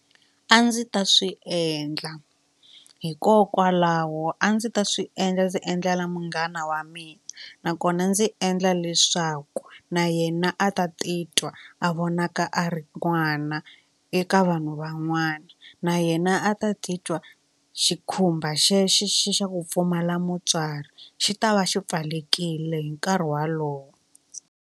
A ndzi ta swi endla hikokwalaho a ndzi ta swi endla ndzi endlela munghana wa mina nakona ndzi endla leswaku na yena a ta titwa a vonaka a ri n'wana eka vanhu van'wana na yena a ta titwa xikhumba xexo xi xa ku pfumala mutswari xi ta va xi pfalekile hi nkarhi walowo.